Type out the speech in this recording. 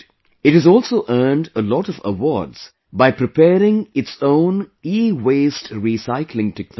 It has also earned a lot of awards by preparing its own EWaste Recycling Technology